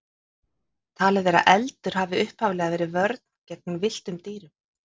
Talið er að eldur hafi upphaflega verið vörn gegn villtum dýrum.